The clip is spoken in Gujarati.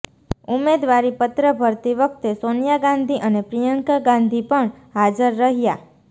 ઉમેદવારી પત્ર ભરતી વખતે સોનિયા ગાંધી અને પ્રિયંકા ગાંધી પણ હાજર રહ્યા